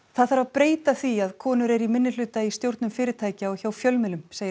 það þarf að breyta því að konur eru í minnihluta í stjórnum fyrirtækja og hjá fjölmiðlum segir